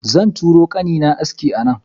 Zan turo kanina aski a nan.